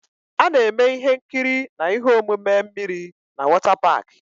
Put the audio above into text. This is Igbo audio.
A na-eme ihe nkiri na ihe omume mmiri na wọtá páák